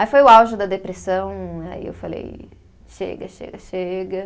Aí foi o auge da depressão, aí eu falei, chega, chega, chega.